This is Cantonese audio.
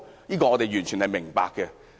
這點我們完全明白。